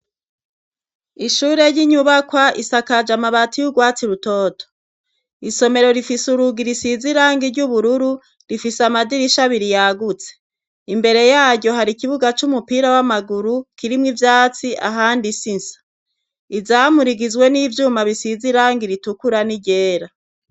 Ishure ry'inyubakwa isakaje amabati y'ugwatsi rutoto isomero rifise urugi risize irangi ry'ubururu rifise amadirisha abiri yagutse imbere yaryo hari ikibuga c'umupira w'amaguru kirimwe ivyatsi ahandi insisa izamu rigizwe n'ivyuma bisize irangi ritukura n'iryera.